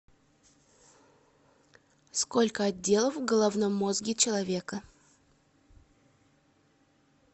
сколько отделов в головном мозге человека